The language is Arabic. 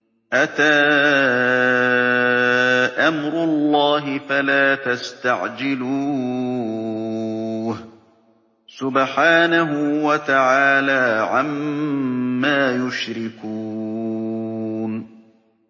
أَتَىٰ أَمْرُ اللَّهِ فَلَا تَسْتَعْجِلُوهُ ۚ سُبْحَانَهُ وَتَعَالَىٰ عَمَّا يُشْرِكُونَ